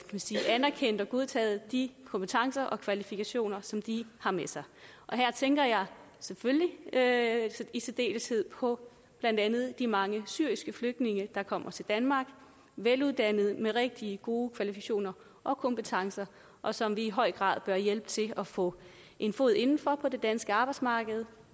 sige anerkendt og godtaget de kompetencer og kvalifikationer som de har med sig og her tænker jeg selvfølgelig i særdeleshed på blandt andet de mange syriske flygtninge der kommer til danmark veluddannede og med rigtig gode kvalifikationer og kompetencer og som vi i høj grad bør hjælpe til at få en fod inden for på det danske arbejdsmarked